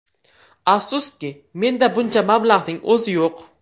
Afsuski, menda buncha mablag‘ning o‘zi yo‘q.